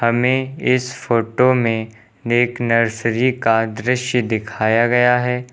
हमे इस फोटो में एक नर्सरी का दृश्य दिखाया गया है।